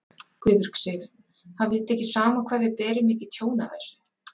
Guðbjörg Sif: Hafið þið tekið saman hvað þið berið mikið tjón af þessu?